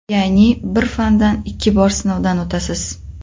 Ya’ni bir fandan ikki bor sinovdan o‘tasiz.